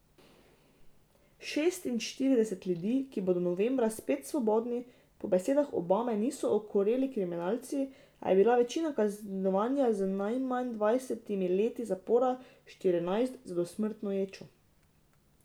Šestinštirideset ljudi, ki bodo novembra spet svobodni, po besedah Obame niso okoreli kriminalci, a je bila večina kaznovana z najmanj dvajsetimi leti zapora, štirinajst z dosmrtno ječo.